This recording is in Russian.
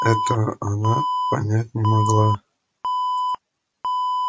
этого она понять не могла